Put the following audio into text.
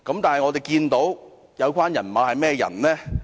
但是，有關"人馬"是甚麼人呢？